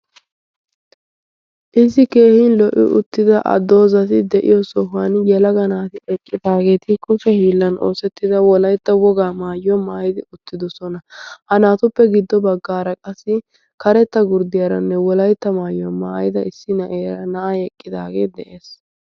issi keehin lo'i? uttida addoozati de'iyo sohuwan yalaga naati eqqitaageeti kushe hiillan oosettida wolaytta wogaa maayyuwoaa maayidi uttidosona. ha naatuppe giddo baggaara qassi karetta gurddiyaaranne wolaytta maayyuwaa maayida issi nayeera na'a eqqidaagee de'ees.